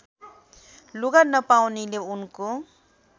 लुगा नपाउनेले उनको